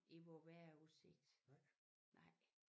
I vor vejrudsigt nej